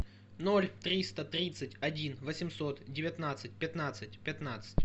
ноль триста тридцать один восемьсот девятнадцать пятнадцать пятнадцать